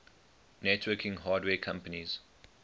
networking hardware companies